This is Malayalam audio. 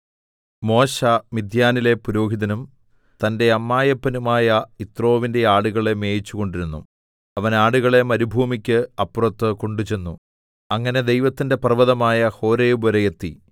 മോശെ മിദ്യാനിലെ പുരോഹിതനും തന്റെ അമ്മായപ്പനുമായ യിത്രോവിന്റെ ആടുകളെ മേയിച്ചുകൊണ്ടിരുന്നു അവൻ ആടുകളെ മരുഭൂമിക്ക് അപ്പുറത്ത് കൊണ്ട് ചെന്നു അങ്ങനെ ദൈവത്തിന്റെ പർവ്വതമായ ഹോരേബ് വരെ എത്തി